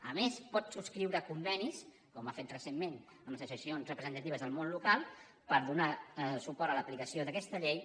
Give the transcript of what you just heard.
a més pot subscriure convenis com ha fet recentment amb les associacions representatives del món local per donar suport a l’aplicació d’aquesta llei